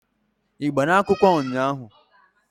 Ị gbara akwụkwọ ụnyaahụ?